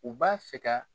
U b'a fɛ ka